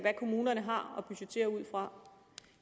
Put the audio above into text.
hvad kommunerne har at budgettere ud fra